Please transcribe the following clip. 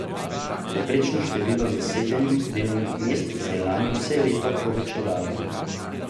Povprečno število zasedenih delovnih mest se je lani vse leto povečevalo.